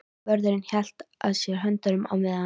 Vörðurinn hélt að sér höndum á meðan